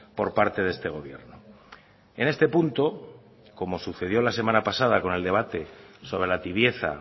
por parte de este gobierno en este punto como sucedió la semana pasada con el debate sobre la tibieza